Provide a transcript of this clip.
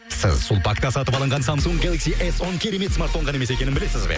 сіз сулпакта сатып алынған самсунг гелакси эс он керемет смартфон ғана емес екенін білесіз бе